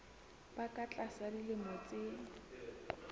ba ka tlasa dilemo tse